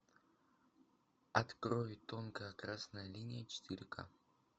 открой тонкая красная линия четыре ка